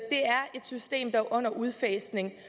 system er under udfasning